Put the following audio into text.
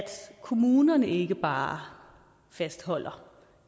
kommunerne ikke bare fastholder